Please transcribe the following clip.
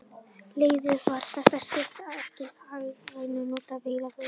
Leiðin var það stutt, að ekki var hagkvæmt að nota vörubíla við flutningana.